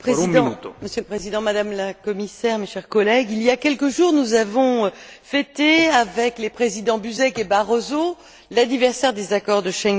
Monsieur le Président, Madame la Commissaire, mes chers collègues, il y a quelques jours, nous avons fêté, avec les présidents Buzek et Barroso, l'anniversaire des accords de Schengen.